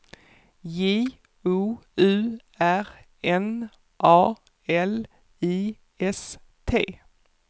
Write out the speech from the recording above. J O U R N A L I S T